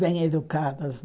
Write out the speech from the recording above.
Bem educadas.